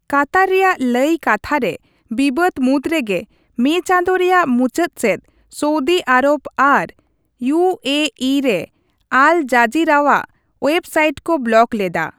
ᱠᱟᱛᱟᱨ ᱨᱮᱭᱟᱜ ᱞᱟᱹᱭ ᱠᱟᱛᱷᱟ ᱨᱮ ᱵᱤᱵᱟᱹᱫᱽ ᱢᱩᱫᱽ ᱨᱮᱜᱮ ᱢᱮᱹ ᱪᱟᱸᱫᱳ ᱨᱮᱭᱟᱜ ᱢᱩᱪᱟᱹᱫ ᱥᱮᱫ ᱥᱳᱣᱫᱤ ᱟᱨᱚᱵᱽ ᱟᱨ ᱤᱭᱩᱹᱮᱹᱤ ᱨᱮ ᱟᱞ ᱡᱟᱡᱤᱨᱟᱣᱟᱜ ᱳᱭᱮᱵᱽᱥᱟᱭᱤᱴ ᱠᱚ ᱵᱞᱚᱠ ᱞᱮᱫᱟ ᱾